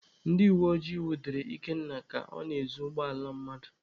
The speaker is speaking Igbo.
Ndị uweojii nwudere Ikenna ka ọ na-ezu ụgbọala mmadụ.